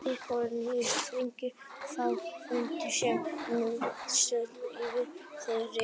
Þið bíðið nýjustu fregna frá fundi sem nú stendur yfir, ekki rétt?